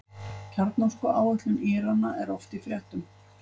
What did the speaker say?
Kjarnorkuáætlun Írana er oft í fréttum.